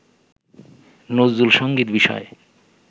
নজরুলসংগীত বিষয়ে